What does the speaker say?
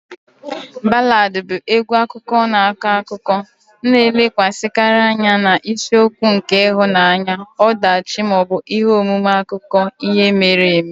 Ballads bụ egwu akụkọ na-akọ akụkọ, na-elekwasịkarị anya na isiokwu nke ịhụnanya, ọdachi, ma ọ bụ ihe omume akụkọ ihe mere eme.